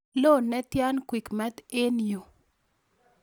Lo netian quickmart en yu